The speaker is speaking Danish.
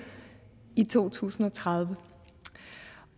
i to tusind og tredive